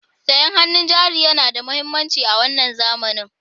Sayan hannun jari yana da mahimmanci a wannan zamani.